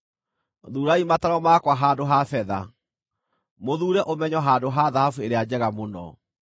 Thuurai mataaro makwa handũ ha betha, mũthuure ũmenyo handũ ha thahabu ĩrĩa njega mũno,